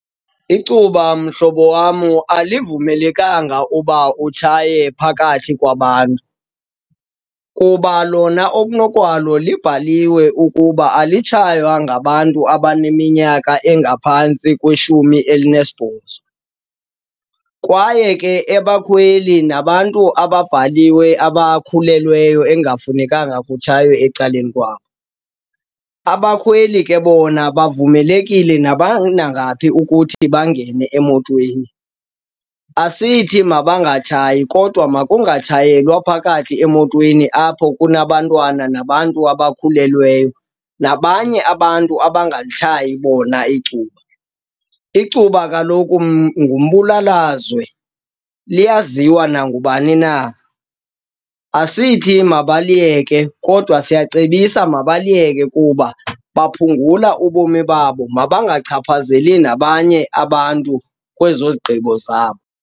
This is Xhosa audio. Icuba mhlobo wam alivumelekanga uba utshaye phakathi kwabantu. Kuba lona okunokwalo libhaliwe ukuba alitshaywa ngabantu abaneminyaka engaphantsi kweshumi elinesibhozo. Kwaye ke abakhweli nabantu ababhaliwe abakhulelweyo ekungafunekanga kutshaywe ecaleni kwabo. Abakhweli ke bona bavumelekile nabanangaphi ukuthi bangene emotweni. Asithi mabangangatshayi kodwa makungatshayelwa phakathi emotweni, apho kunabantwana nabantu abakhulelweyo nabanye abantu abangalitshayi bona icuba. Icuba kaloku ngumbulalazwe, liyaziwa nangubani na. Asithi mabaliyeke kodwa siyacebisa mabaliyeke kuba baphungula ubomi babo, mabangachaphazeli nabanye abantu kwezo zigqibo zabo.